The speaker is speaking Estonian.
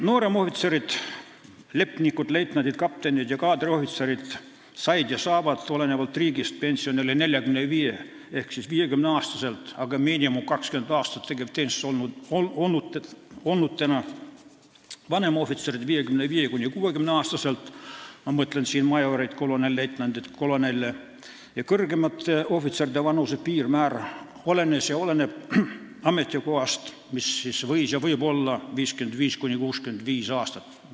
Nooremohvitserid, lipnikud, leitnandid, kaptenid ja kaadriohvitserid said ja saavad, olenevalt riigist, pensionile 45–50-aastaselt, kui nad on vähemalt 20 aastat tegevteenistuses olnud, vanemohvitserid 55–60-aastaselt – ma mõtlen siin majoreid, kolonelleitnante, kolonele – ja kõrgemate ohvitseride vanuse piirmäär olenes ja oleneb ametikohast, see piirmäär võis ja võib olla 55–65 aastat.